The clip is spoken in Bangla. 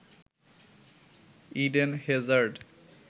Eden Hazard